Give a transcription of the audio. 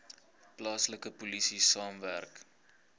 plaaslike polisie saamwerk